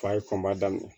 F'a ye kɔnba daminɛ